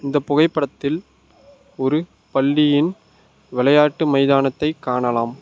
இந்த புகைப்படத்தில் ஒரு பள்ளியின் விளையாட்டு மைதானத்தை காணலாம்.